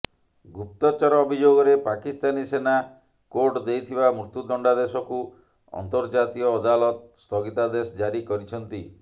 ଗୁପ୍ତଚର ଅଭିଯୋଗରେ ପାକିସ୍ତାନୀ ସେନା କୋର୍ଟ ଦେଇଥିବା ମୃତ୍ୟୁ ଦଣ୍ଡାଦେଶକୁ ଅନ୍ତର୍ଜାତୀୟ ଅଦାଲତ ସ୍ଥଗିତାଦେଶ ଜାରି କରିଛନ୍ତି